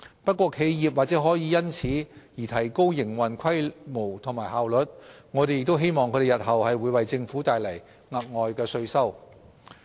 不過，企業或可因此而提高營運規模及效率，我們亦希望它們日後可為政府帶來額外稅收。